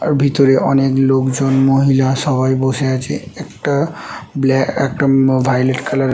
আর ভিতরে অনেক লোকজন মহিলা সবাই বসে আছে একটা ব্ল্যা একটা ম ভাযোলেট কালার --